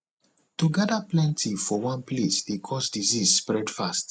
to gather plenty for one place dey cause disease spread fast